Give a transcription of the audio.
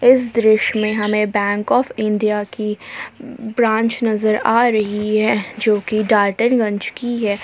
इस दृश्य में हमें बैंक ऑफ इंडिया की ब्रांच नजर आ रही है जो कि डाल्टन गंज की है।